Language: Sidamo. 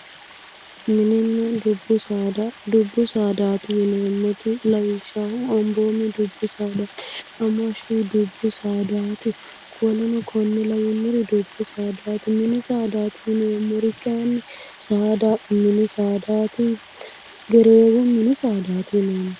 Mininna dubbu saada, dubbu saadaati yineemmoti lawishshaho amboomi dubbu saadaati, hamashshu dubbu saadaati woleno konne lawannori dubbu saadaati. Mini saadaati yineemmori saada mini saadaati. Gereewo mini saadaati yineemmo.